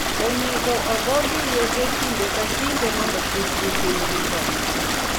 Onego ogogi yedhe kinde ka kinde mondo kik nyithindgi tho.